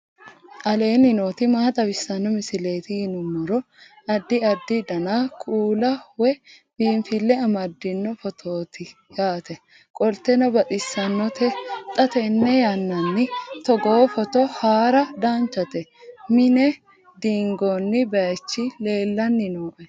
aleenni nooti maa xawisanno misileeti yinummoro addi addi dananna kuula woy biinfille amaddino footooti yaate qoltenno baxissannote xa tenne yannanni togoo footo haara danchate mine diingoonni baychi leellanni nooe